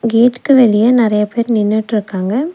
கேட்டுக்கு வெளியே நிறைய பேர் நின்னுக்கிட்டுருக்காங்க.